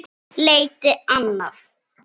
Leita annað?